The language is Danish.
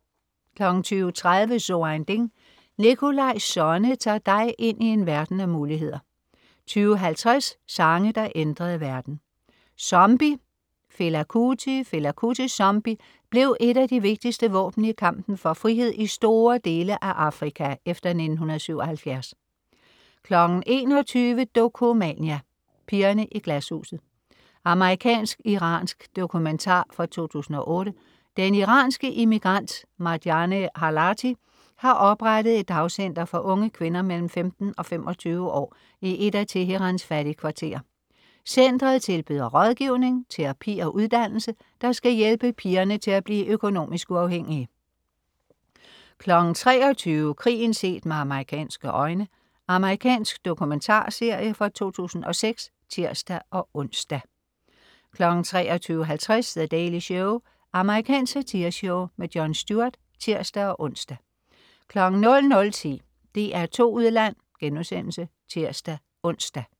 20.30 So ein Ding. Nikolaj Sonne tager dig ind i en verden af muligheder 20.50 Sange, der ændrede verden. "Zombie", Fela Kuti. Fela Kutis "Zombie" blev et af de vigtigste våben i kampen for frihed i store dele af Afrika efter 1977 21.00 Dokumania: Pigerne i Glashuset. Amerikansk-iransk dokumentar fra 2008. Den iranske immigrant Marjaneh Halati har oprettet et dagcenter for unge kvinder mellem 15 og 25 år i et af Teherans fattigkvarterer. Centret tilbyder rådgivning, terapi og uddannelse, der skal hjælpe pigerne til at blive økonomisk uafhængige 23.00 Krigen set med amerikanske øjne. Amerikansk dokumentarserie fra 2006 (tirs-ons) 23.50 The Daily Show. Amerikansk satireshow. Jon Stewart (tirs-ons) 00.10 DR2 Udland* (tirs-ons)